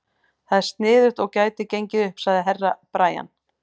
Það er sniðugt og gæti gengið upp, sagði Herra Brian.